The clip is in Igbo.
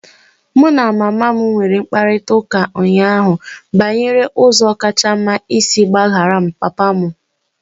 Mụ na mama m nwere mkparịta ụka ụnyaahụ banyere ụzọ kacha mma isi gbaghara papa m.